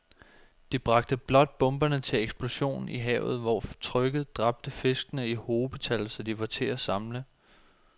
De bragte blot bomberne til eksplosion i havet, hvor trykket dræbte fiskene i hobetal, så de var til at samle